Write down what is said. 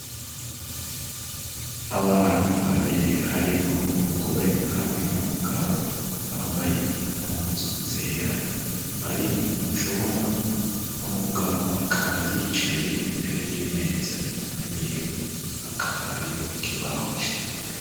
abantu babiri harimwo umugore hamwe n'umugabo bambaye impuzu zera bari mucumba umugabo akaba yicaye imbere y'imeza inyuma yiwe hakaba hariho ikibaho cirabura